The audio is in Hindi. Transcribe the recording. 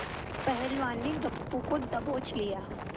पहलवान ने गप्पू को दबोच लिया